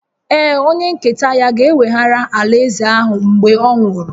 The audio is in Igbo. Ee, onye nketa ya ga-eweghara alaeze ahụ mgbe ọ nwụrụ